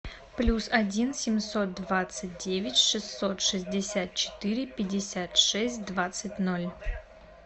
плюс один семьсот двадцать девять шестьсот шестьдесят четыре пятьдесят шесть двадцать ноль